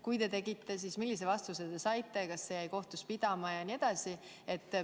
Kui te seda tegite, siis millise vastuse te saite ja kas see jäi kohtus pidama?